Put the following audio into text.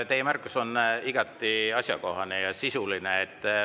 Teie märkus on igati asjakohane ja sisuline.